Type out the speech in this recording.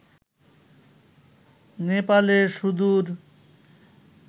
নেপালের সুদূর